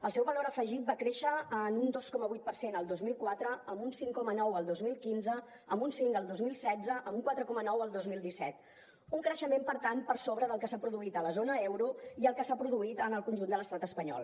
el seu valor afegit va créixer en un dos coma vuit per cent el dos mil quatre en un cinc coma nou el dos mil quinze en un cinc el dos mil setze en un quatre coma nou el dos mil disset un creixement per tant per sobre del que s’ha produït a la zona euro i el que s’ha produït en el conjunt de l’estat espanyol